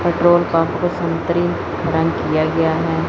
Petrol pump को संतरी रंग किया गया है।